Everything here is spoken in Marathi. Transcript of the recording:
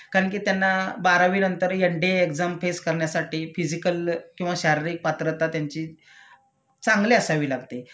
कारण कि त्यांना बारावी नंतर N D A exam face करण्यासाठी फिसिकल किंवा शारीरिक पात्रता त्यांची चांगली असावी लागते